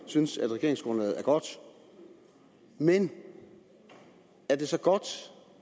synes at regeringsgrundlaget er godt men er det så godt